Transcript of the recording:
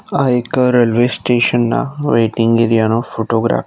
આ એક railway station ના વેઇટિંગ એરિયા નો ફોટોગ્રાફ છ.